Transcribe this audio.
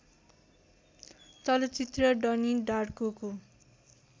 चलचित्र डनी डार्कोको